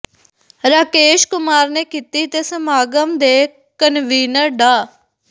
ਰਾਕੇਸ਼ ਕੁਮਾਰ ਨੇ ਕੀਤੀ ਤੇ ਸਮਾਗਮ ਦੇ ਕਨਵੀਨਰ ਡਾ